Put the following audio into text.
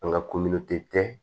An ka